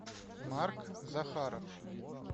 марк захаров